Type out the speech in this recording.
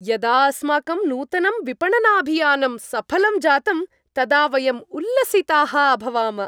यदा अस्माकं नूतनं विपणनाभियानं सफलं जातं तदा वयं उल्लसिताः अभवाम।